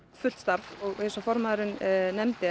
fullt starf eins og formaðurinn nefndi